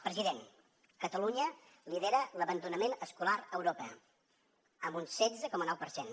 president catalunya lidera l’abandonament escolar a europa amb un setze coma nou per cent